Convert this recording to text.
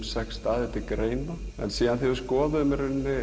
sex staðir til greina síðan þegar við skoðuðum